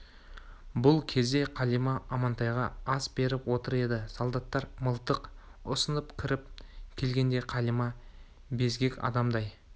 бұл кезде қалима амантайға ас беріп отыр еді солдаттар мылтық ұсынып кіріп келгенде қалима безгек адамдай